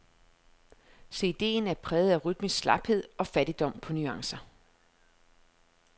Cd'en er præget af rytmisk slaphed og fattigdom på nuancer.